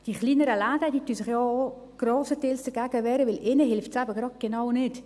Die kleinen Läden wehren sich ja zum grossen Teils auch dagegen, denn genau ihnen hilft es nicht.